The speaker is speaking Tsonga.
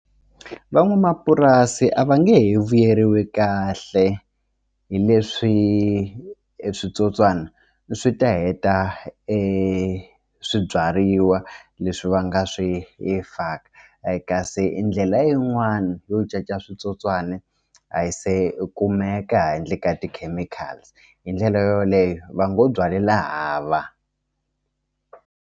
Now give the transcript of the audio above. Van'wamapurasi a va nge he vuyeriwi kahle hi leswi switsotswana swi ta heta e swibyariwa leswi va nga swi hi faka kasi i ndlela yin'wani yo caca switsotswani a yi se kumeka handle ka ti-chemicals hi ndlela yoleyo va ngo byalela hava.